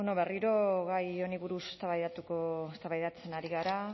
berriro gai honi buruz eztabaidatzen ari gara